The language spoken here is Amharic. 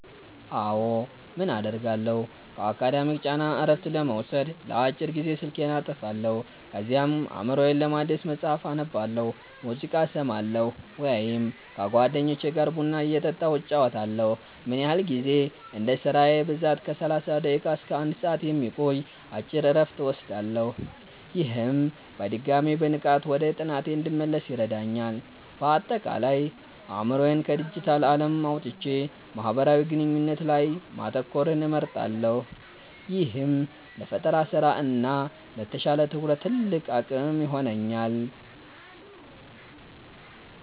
አዎ, ምን አደርጋለሁ? ከአካዳሚክ ጫና እረፍት ለመውሰድ ለአጭር ጊዜ ስልኬን አጠፋለሁ። ከዚያም አእምሮዬን ለማደስ መጽሐፍ አነባለሁ፣ ሙዚቃ እሰማለሁ ወይም ከጓደኞቼ ጋር ቡና እየጠጣሁ እጨዋወታለሁ። ምን ያህል ጊዜ? እንደ ስራዬ ብዛት ከ30 ደቂቃ እስከ 1 ሰዓት የሚቆይ አጭር እረፍት እወስዳለሁ። ይህም በድጋሚ በንቃት ወደ ጥናቴ እንድመለስ ይረዳኛል። ባጠቃላይ፦ አእምሮዬን ከዲጂታል ዓለም አውጥቼ ማህበራዊ ግንኙነት ላይ ማተኮርን እመርጣለሁ፤ ይህም ለፈጠራ ስራ እና ለተሻለ ትኩረት ትልቅ አቅም ይሆነኛል።